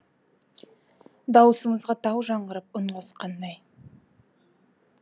дауысымызға тау жаңғырып үн қосқандай